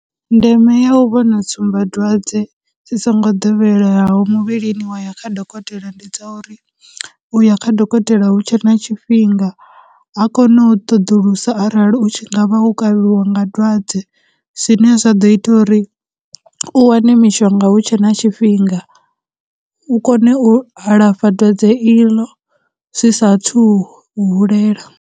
Ndeme ya u vhona tsumbadzwadze dzi songo doweleyaho muvhilini wa ya kha dokotela ndi dza uri, uya kha dokotela hu tshe na tshifhinga, a kone u ṱoḓulusa arali u tshi nga vha wo kavhiwa nga dwadze, zwine zwa ḓo ita uri u wane mishonga hu tshe na tshifhinga, u kone u alafha dwadze iḽo zwi sa thu hulela.